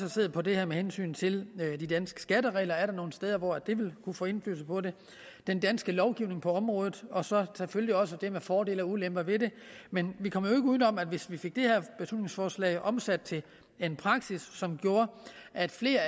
set på det her med hensyn til de danske skatteregler er der nogle steder hvor det vil kunne få indflydelse på det den danske lovgivning på området og så selvfølgelig også det med fordele og ulemper ved det men vi kommer jo ikke uden om at hvis vi fik det her beslutningsforslag omsat til praksis som gjorde at flere